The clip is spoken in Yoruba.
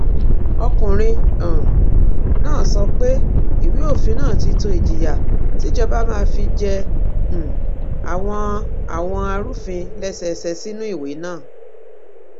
ọkùnrin um náà sọ pé ìwé òfin náà ti tó ìjìyà tíjọba máa fi jẹ um àwọn àwọn arúfin lẹsẹẹsẹ sínú ìwé náà